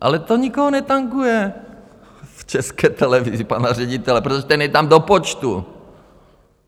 Ale to nikoho netanguje v České televizi, pana ředitele, protože ten je tam do počtu.